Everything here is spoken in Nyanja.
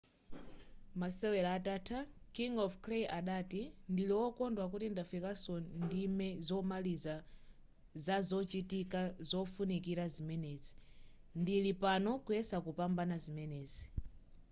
masewera atatha king of clay adati ndili wokondwa kuti ndafikaso ndime zomaliza zazochitika zofunikira zimenezi ndili pano kuyesa kupambana zimenezi